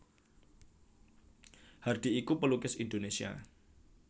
Hardi iku pelukis Indonesia